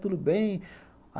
Tudo bem?